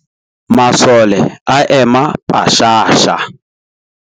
Masole a ema pashasha.